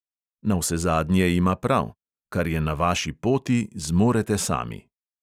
Navsezadnje ima prav: kar je na vaši poti, zmorete sami.